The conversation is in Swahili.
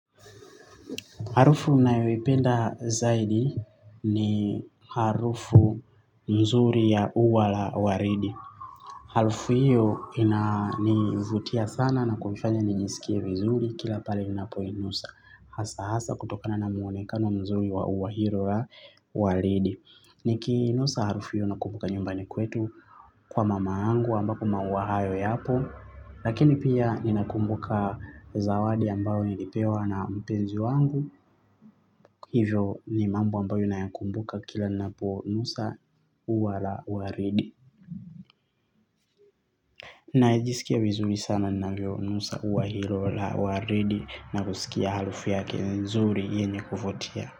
Harufu ninayoipenda zaidi ni harufu nzuri ya uwa la waridi. Harufu hiyo inanivutia sana na kunifanya nijiskie vizuri kila pale ninapoinusa. Hasa hasa kutokana na muonekano mzuri wa uwa hilo la waridi. Nikiinusa harufu hiyo nakumbuka nyumbani kwetu kwa mama yangu ambako maua hayo yapo. Lakini pia ninakumbuka zawadi ambayo nilipewa na mpenzi wangu. Hivyo ni mambo ambayo nayakumbuka kila naponusa uwa la waridi. Najisikia vizuri sana ninavyonusa uwa hilo la waridi. Na kusikia harufu yake nzuri yenye kuvutia.